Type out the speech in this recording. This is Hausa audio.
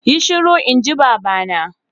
Yi shiru inji baba na!